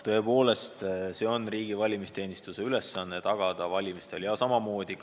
Tõepoolest, riigi valimisteenistuse ülesanne on tagada valimistel seadusest kinnipidamine.